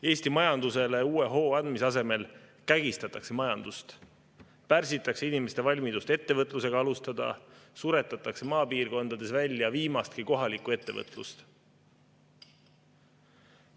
Eesti majandusele uue hoo andmise asemel kägistatakse majandust, pärsitakse inimeste valmidust ettevõtlusega alustada, suretatakse maapiirkondades välja viimastki kohalikku ettevõtlust.